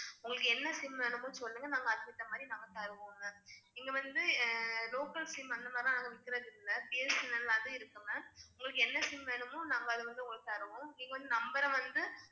உங்களுக்கு என்ன SIM வேணுமோ சொல்லுங்க நாங்க அதுக்கு ஏத்த மாதிரி நாங்க தருவோம் ma'am இங்க வந்து localSIM அந்த மாதிரி எல்லாம் நாங்க விக்கிறது இல்ல BSNL அது இருக்கு ma'am உங்களுக்கு என்ன SIM வேணுமோ நாங்க அத வந்து உங்களுக்கு தருவோம் நீங்க வந்து number அ வந்து